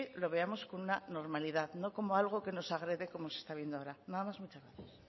lo veamos como una normalidad no como algo que nos agrede como se está viendo ahora nada más muchas gracias